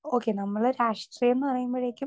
speaker 2 okay, നമ്മള് രാഷ്ട്രീയം എന്ന് പറയുമ്പോഴേക്കും